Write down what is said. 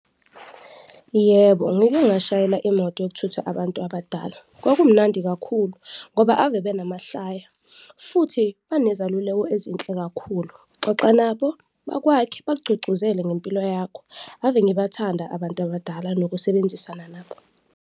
Yebo, ngike ngashayela imoto yokuthutha abantu abadala, kwakumnandi kakhulu ngoba ave benamahlaya futhi banezaluleko ezinhle kakhulu, xoxa nabo bakwakhe, bakugqugquzele ngempilo yakho, have ngibathanada abantu abadala nokusebenzisana nabo.